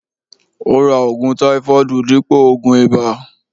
Ó ra ògùn táífọọdu dípò ògùn ìbà